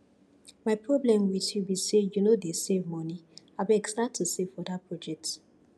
my problem with you be say you no dey save money abeg start to save for dat project